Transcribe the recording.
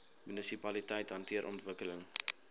munisipaliteite hanteer ontwikkeling